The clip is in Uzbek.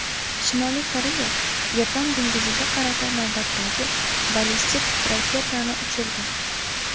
Shimoliy Koreya Yapon dengiziga qarata navbatdagi ballistik raketani uchirdi.